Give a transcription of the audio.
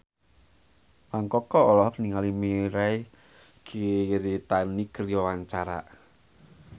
Mang Koko olohok ningali Mirei Kiritani keur diwawancara